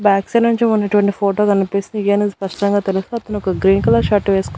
back side నుంచి ఉన్నటువంటి photo కనిపిస్తుంది నుంచి స్పష్టంగా తెలుసు అతనొక గ్రీన్ కలర్ షర్ట్ వేస్కో--